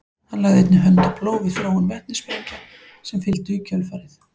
hann lagði einnig hönd á plóg við þróun vetnissprengja sem fylgdu í kjölfarið